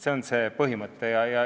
See on see põhimõte.